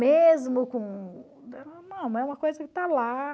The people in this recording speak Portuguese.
Mesmo com... é uma coisa que está lá.